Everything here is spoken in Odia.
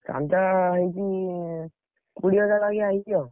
ଚାନ୍ଦା ହେଇଛି, କୋଡିଏ ହଜାର ବାଗିଆ ହେଇଛି ଆଉ।